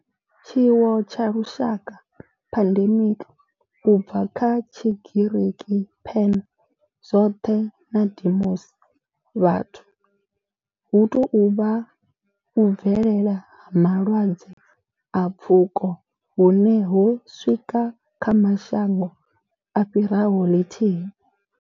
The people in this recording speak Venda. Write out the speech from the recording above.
Tshiwo tsha lushaka, pandemic, u bva kha Tshigiriki pan, zwothe na demos, vhathu, hu tou vha u bvelela ha vhulwadze ha pfuko hune ho swika kha mashango a fhiraho lithihi.